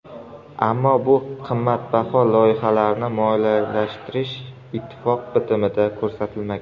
Ammo bu qimmatbaho loyihalarni moliyalashtirish ittifoq bitimida ko‘rsatilmagan.